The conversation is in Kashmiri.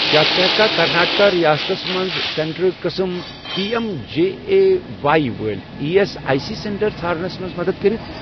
کیٛاہ ژٕ ہیٚککھا کرناٹکا ریاستس مَنٛز سینٹرٕک قٕسم P M J A Y وٲلۍ E S I C centre ژھارنَس مَنٛز مدد کٔرِتھ؟